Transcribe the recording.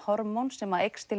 sem að aukast